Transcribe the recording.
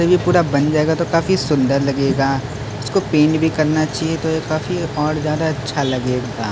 जब ये पूरा बन जाएगा तो काफी सुंदर लगेगा इसको पेंट भी करने चाहिए तो यह काफी और ज्यादा अच्छा लगेगा ।